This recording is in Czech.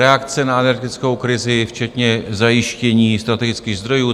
Reakce na energetickou krizi, včetně zajištění strategických zdrojů.